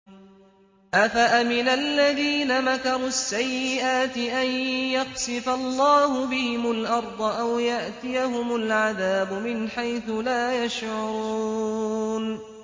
أَفَأَمِنَ الَّذِينَ مَكَرُوا السَّيِّئَاتِ أَن يَخْسِفَ اللَّهُ بِهِمُ الْأَرْضَ أَوْ يَأْتِيَهُمُ الْعَذَابُ مِنْ حَيْثُ لَا يَشْعُرُونَ